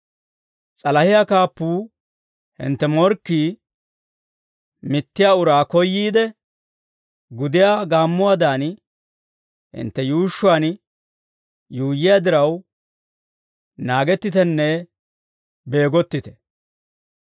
S'alahiyaa kaappuu, hintte morkkii, mittiyaa uraa koyyiide, gudiyaa gaammuwaadan hintte yuushshuwaan yuuyyiyaa diraw naagettitenne beegottite.